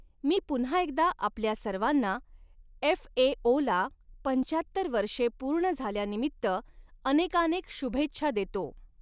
मी पुन्हा एकदा आपल्या सर्वांना एफएओला पंचाहत्तर वर्षे पूर्ण झाल्यानिमित्त अनेकानेक शुभेच्छा देतो.